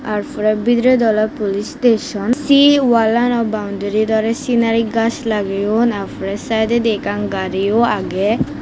tar pore bidiredi ole police station se wall ano boundarit ole scenery gaj lageyun tar pore side odi ekkan gari o age.